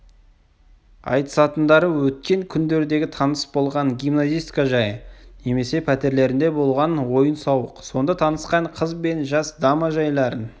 айтысатындары өткен күндердегі таныс болған гимназистка жайы немесе пәтерлерінде болған ойын-сауық сонда танысқан қыз бен жас дама жайларын